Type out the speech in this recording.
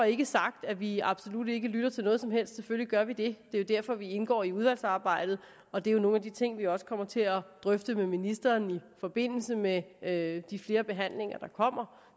ikke sagt at vi absolut ikke lytter til noget som helst selvfølgelig gør vi det det er jo derfor vi indgår i udvalgsarbejdet og det er nogle af de ting vi også kommer til at drøfte med ministeren i forbindelse med med de flere behandlinger der kommer